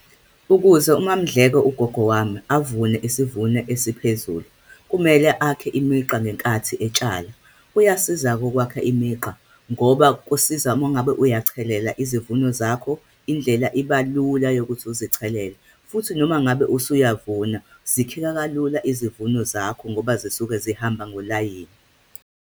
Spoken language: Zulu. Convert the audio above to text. Ukuze uMaMndleko, ugogo wami, avune isivuno esiphezulu, kumele akhe imigqa ngenkathi etshala. Kuyasiza-ke ukwakha imigqa, ngoba kusiza uma ngabe uyachelela izivuno zakho. Indlela iba lula ukuthi uzithelele, futhi noma ngabe usuyavuma, zikheka kalula izivuno zakho ngoba zisuke zihamba ngolayini.